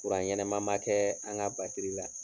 ɲɛnɛma ma kɛ an ka batiri la.